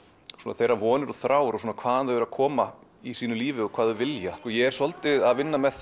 þeirra vonir og þrár hvaðan þau koma í sínu lífi og hvað þau vilja ég er svolítið að vinna með